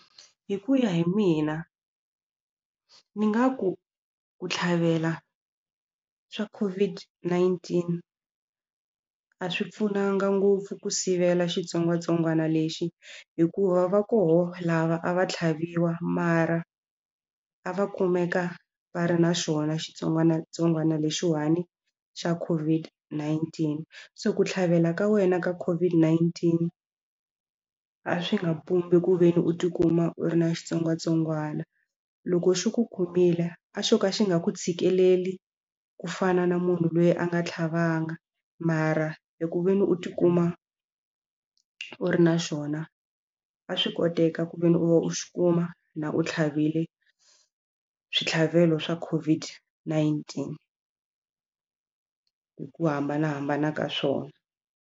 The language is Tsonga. Hi ku ya hi mina ni nga ku ku tlhavela swa COVID-19 a swi pfunanga ngopfu ku sivela xitsongwatsongwana lexi hikuva va koho lava a va tlhaviwa mara a va kumeka va ri na xona xitsongwatsongwana lexiwani xa COVID-19 se ku tlhavela ka wena ka COVID-19 a swi nga pumbi ku ve ni u tikuma u ri na xitsongwatsongwana loko xi ku khomile a xo ka xi nga ku tshikeleli ku fana na munhu loyi a nga tlhavanga mara eku ve ni u tikuma u ri na xona a swi koteka ku ve ni u xi kuma na u tlhavile switlhavelo swa COVID-19 hi ku hambanahambana ka swona.